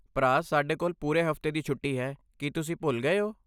ਭਰਾ, ਸਾਡੇ ਕੋਲ ਪੂਰੇ ਹਫ਼ਤੇ ਦੀ ਛੁੱਟੀ ਹੈ, ਕੀ ਤੁਸੀਂ ਭੁੱਲ ਗਏ ਹੋ?